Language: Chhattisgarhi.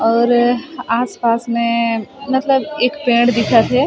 और आस पास में मतलब एक पेड़ दिखत हे।